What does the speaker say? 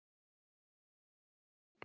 Að búa?